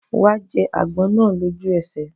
Wàá jẹ àgbọn náà lójú èsẹ̀